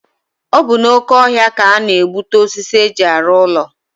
Ọ bụ n'oke ọhịa ka a na-egbute osisi e ji arụ ụlọ.